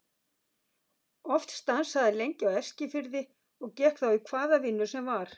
Oft stansaði hann lengi á Eskifirði og gekk þá í hvaða vinnu sem var.